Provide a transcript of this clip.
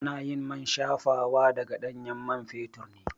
Anayin man shafawa daga ɗanyen man fetur ne